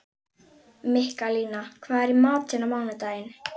Mikkalína, hvað er í matinn á mánudaginn?